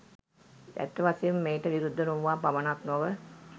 ඇත්ත වශයෙන්ම මෙයට විරුද්ධ නොවූවා පමණක් නොව